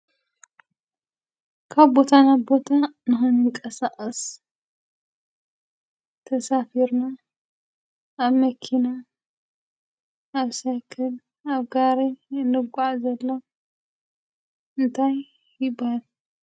ካብ ቦታ ናብ ቦታ ንክንቀሳቀስ ተሳፊርና ኣብ መኪና፣ ኣብ ሳይክል፣ ኣብ ጋሪ እንጓዓዘሎም እንታይ ይባሃል?